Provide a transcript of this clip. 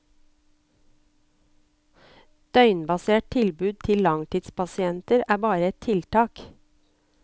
Døgnbasert tilbud til langtidspasienter er bare ett tiltak.